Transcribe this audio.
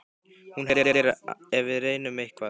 Hún hellir ef við reynum eitthvað.